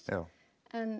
en